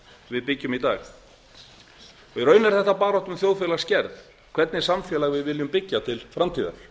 við byggjum í dag í raun er þetta barátta um þjóðfélagsgerð hvernig samfélag við viljum byggja til framtíðar